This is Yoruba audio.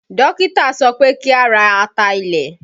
Dókítà sọ pé kí a ra ata ilẹ̀